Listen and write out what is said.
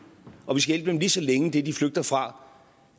og vi skal hjælpe dem lige så længe det de flygter fra